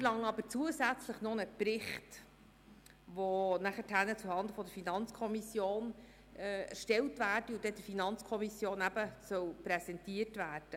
Die Motionäre fordern aber zusätzlich noch einen Bericht, der zuhanden der FiKo zu erstellen und ihr zu präsentieren sei.